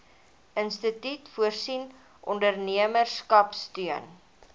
instituut voorsien ondernemerskapsteun